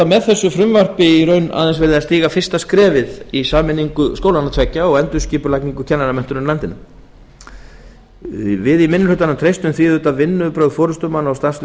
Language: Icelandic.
með frumvarpinu er aðeins verið að stíga fyrsta skrefið í sameiningu skólanna tveggja og endurskipulagningu kennaramenntunar í landinu við í minni hlutanum treystum því að vinnubrögð forustumanna og starfslið